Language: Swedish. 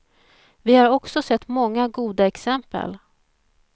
Vi har också sett många goda exempel.